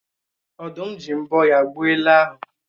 Ọ̀dụ́m ji mbọ́ ya gbuo ele ahụ